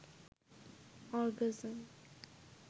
orgasm